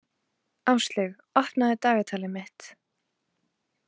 Áslaug, opnaðu dagatalið mitt.